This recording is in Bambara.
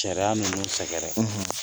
Sariya ninnu sɛgɛrɛ